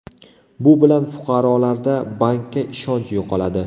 Bu bilan fuqarolarda bankka ishonch yo‘qoladi.